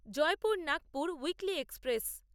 Jaipur Nagpur weekly express